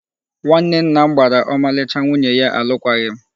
Nwanne nna m gbara ọmalịcha nwunye ya alụkwaghịm.